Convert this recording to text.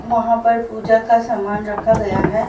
वहां पर पूजा का सामान रखा गया है।